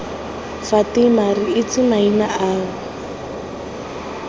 fatima re itse maina ao